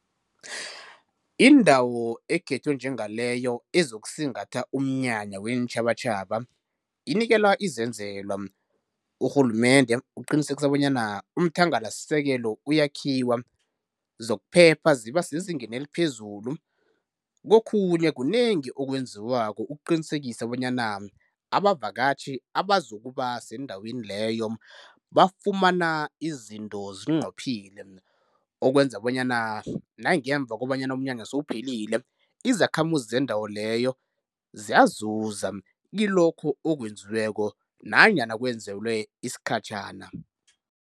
Indawo ekhethwe njengaleyo ezokusingatha umnyanya weentjhabatjhaba inikelwa izenzelwa, urhulumende uqinisekisa bonyana umthangalasisekelo uyakhiwa, zokuphepha ziba sezingeni eliphezulu. Kokhunye kunengi okwenziwako ukuqinisekisa bonyana abavakatjhi abazokuba sendaweni leyo, bafumana izinto zinqophile, okwenza bonyana nangemva kobanyana umnyanya sewuphelile izakhamuzi zendawo leyo ziyazuza kilokho okwenziweko nanyana kwenzelwe isikhatjhana.